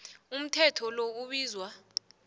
umthetho lo ubizwa